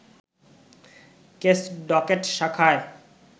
case docket শাখায়